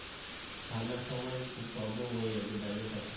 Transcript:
ঠান্ডার সময় খুব problem হয়ে যাবে বাইরে থাকা